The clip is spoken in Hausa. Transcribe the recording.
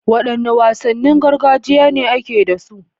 Wadanne wasannin gargajiya ne ake da su?